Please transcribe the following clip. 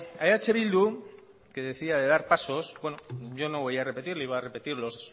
a eh bildu que decía de dar pasos bueno yo no voy a repetir le iba a repetir